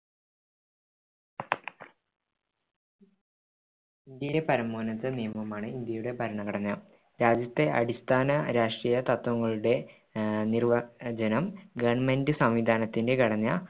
ഇന്ത്യയിലെ പരമോന്നത നിയമമാണ് ഇന്ത്യയുടെ ഭരണഘടന രാജ്യത്തെ അടിസ്ഥാന രാഷ്ട്രീയ തത്ത്വങ്ങളുടെ ആഹ് നിർവ്വചനം government സംവിധാനത്തിന്റെ ഘടന